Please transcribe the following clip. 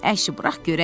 Əşi, burax görək.